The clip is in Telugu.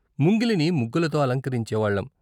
ముంగిలిని ముగ్గులతో అలంకరించే వాళ్ళం.